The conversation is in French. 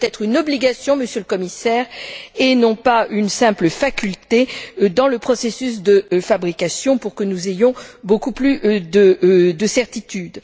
Cela doit être une obligation, Monsieur le Commissaire, et non pas une simple faculté dans le processus de fabrication, pour que nous ayons beaucoup plus de certitudes.